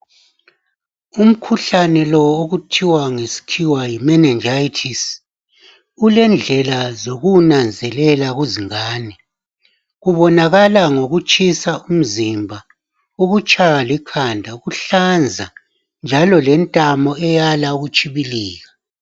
Umkhuhlane lo okuthiwa ngesikhiwa yi meningitis ulendlela zokuwunanzelela kuzingane. Kubonakala ngokutshisa umzimba, ukutshaywa likhanda, ukuhlanza njalo lentamo eyala ukutshibilika.